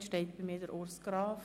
Gemäss Antrag Regierungsrat I